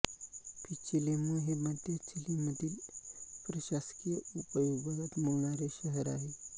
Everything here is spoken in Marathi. पिचिलेमू हे मध्य चिलीमधील प्रशासकीय उपविभागात मोडणारे शहर आहे